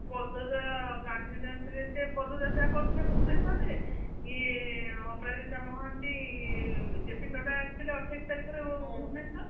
ପଦଯା ଗାନ୍ଧୀଜୟନ୍ତୀରେ ସେ ପଦଯାତ୍ରା କରିଥିଲେ ଭୁବନେଶ୍ୱରରେ ଇଏ ଅପରାଜିତା ମହାନ୍ତି ଜେପି ନଡା ଆସିଥିଲେ ଅଠେଇଶ ତାରିଖରେ ଭୁବନେଶ୍ବର